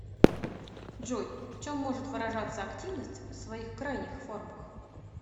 джой в чем может выражаться активность в своих крайних формах